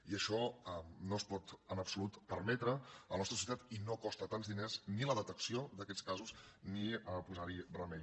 i això no es pot en absolut permetre a la nostra societat i no costa tants diners ni la detecció d’aquests casos ni posar hi remei